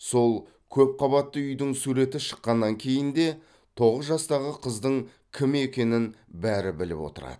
сол көпқабатты үйдің суреті шыққаннан кейін де тоғыз жастағы қыздың кім екенін бәрі біліп отырады